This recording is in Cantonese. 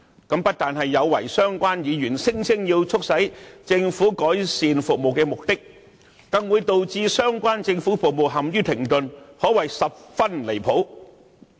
這不單有違相關議員聲稱要促使政府改善服務的目的，更會導致相關政府服務陷於停頓，可謂十分離譜。